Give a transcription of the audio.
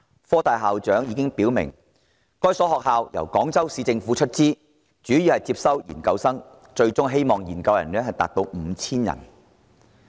科大校長表明，該所學校由廣州市政府出資，主要招收研究生，希望研究生數目最終達 5,000 人。